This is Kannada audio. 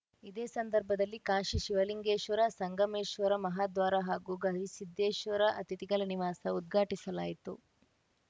ಇದೇ ಸಂದರ್ಭದಲ್ಲಿ ಕಾಶಿ ಶಿವಲಿಂಗೇಶ್ವರ ಸಂಗಮೇಶ್ವರ ಮಹಾದ್ವಾರ ಹಾಗೂ ಗವಿಸಿದ್ದೇಶ್ವರ ಅತಿಥಿಗಳ ನಿವಾಸ ಉದ್ಘಾಟಿಸಲಾಯಿತು